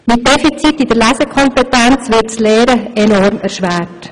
Mit Defiziten in der Lesekompetenz wird das Lernen enorm erschwert.